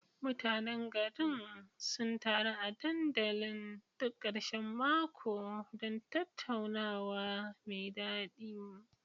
Mutanen garin sun taru a dandalin duk karshen mako don tattaunawa mai dadi.